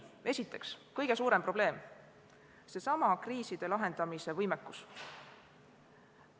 Esiteks, kõige suurem probleem on seesama kriiside lahendamise võimekus.